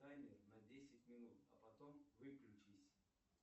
таймер на десять минут а потом выключись